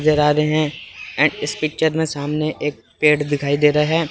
आ रहे हैं ऐ इस पिक्चर में सामने एक पेड़ दिखाई दे रहा है।